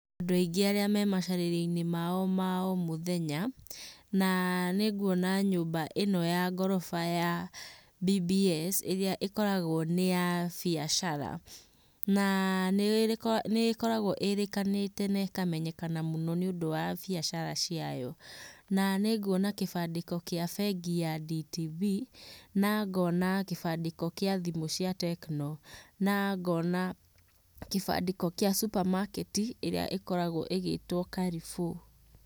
Andũ aingĩ arĩa me macarĩrio-inĩ mao ma o mũthenya, na nĩngũona nyũmba ĩno ya ngorofa ya BBS ĩrĩa ĩkoragwo nĩ ya mbiacara. Na nĩ ĩkoragwo ĩrĩkanĩte na ĩkamenyeka mũno nĩũndũ wa mbiacara ciayo. Na nĩnguona kĩbandĩko kĩa bengi ya DTV. Na ngona kĩbandĩko kĩa thimũ cia Techno. Na ngona kĩbandĩko kĩa supermarket ĩrĩa ĩkoragwo ĩgĩĩtwo Carrefour